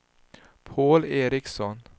Paul Ericson